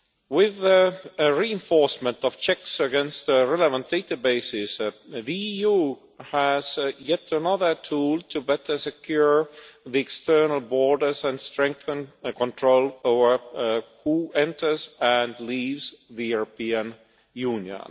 With a reinforcement of checks against relevant databases the EU has yet another tool to better secure the external borders and strengthen control over who enters and leaves the European Union.